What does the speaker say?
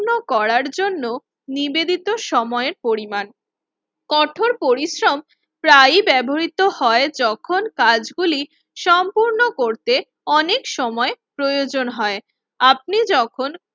ন্য করার জন্য নিবেদিত সময়ের পরিমাণ। কঠোর পরিশ্রম প্রায়ই ব্যবহৃত হয় যখন কাজগুলি সম্পূর্ণ করতে অনেক সময় প্রয়োজন হয়। আপনি যখন